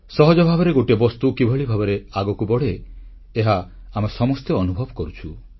ସହଜ ଭାବରେ ଗୋଟିଏ ବସ୍ତୁ କିଭଳି ଆଗକୁ ବଢ଼େ ଏହା ଆମେ ସମସ୍ତେ ଅନୁଭବ କରୁଛୁ